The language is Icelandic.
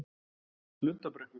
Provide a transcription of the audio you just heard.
Lundarbrekku